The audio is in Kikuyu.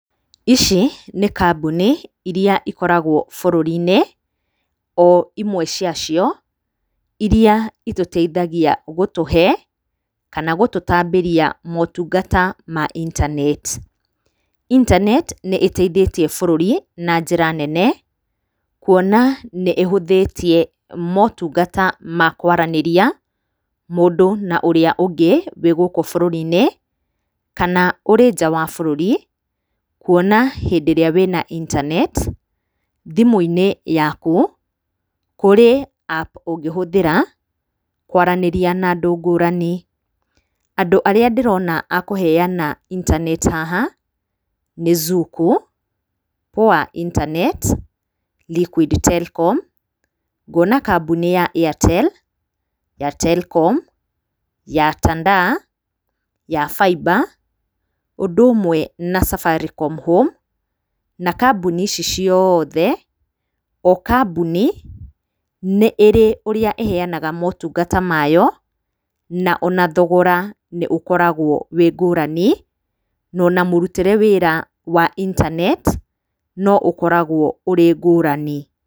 Ici nĩ kambuni iria ikoragwo bũrũri-inĩ, o imwe ciacio, iria itũteithagia gũtũhe, kana gũtũtambĩria motungata ma internet. Interntet nĩ ĩteithĩtie bũrũri, na njĩra nene, kuona nĩ ĩhũthĩtie motungata ma kwaranĩria, mũndũ na ũrĩa ũngĩ wĩ gũkũ bũrũri-inĩ, kana ũrĩ nja wa bũrũri, kuona hĩndĩ ĩrĩa wĩna internet, thimũ-inĩ yaku, kũrĩ app ũngĩhũthĩra, kwaranĩria na andũ ngũrani. Andũ arĩa ndĩrona a kũheana internet haha, nĩ Zuku, Poa internet, Liquid telkom, ngona kambũni ya Airtel, ya Telkom, ya Tandaa, ya Faiba, ũndũ ũmwe na Safaricom home, na kambũni ici ciothe, o kambũni, nĩ ĩrĩ ũrĩa ĩheanaga motungata mayo, na o na thogora nĩ ũkoragwo wĩ ngũrani, na ona mũrutĩre wĩra wa internet, no ũkoragwo ũrĩ ngũrani.